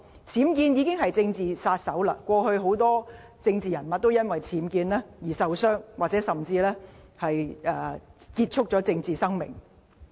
僭建問題已成為"政治殺手"，過去很多政治人物都因為僭建問題而受到傷害，甚或結束了政治生命。